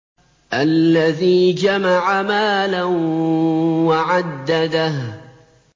الَّذِي جَمَعَ مَالًا وَعَدَّدَهُ